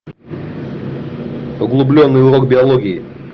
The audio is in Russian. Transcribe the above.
углубленный урок биологии